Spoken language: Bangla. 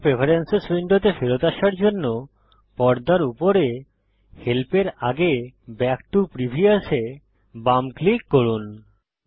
ইউসার প্রেফেরেন্সেস উইন্ডোতে ফেরত আসার জন্য পর্দার উপরে হেল্পের আগের ব্যাক টো প্রিভিয়াস এ বাম ক্লিক করুন